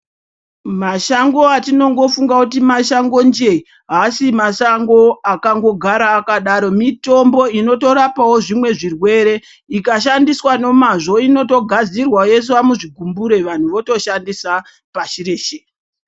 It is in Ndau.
Mashango atinongofunga kuti mashango njee haasi mashango akangogara akangodaro mitombo inotorapavo zvimwe zvirwere. Ika shandiswa nemazvo ino togadzirwa yoiswa muzvigumbure vantu voto shandisa pasi reshe.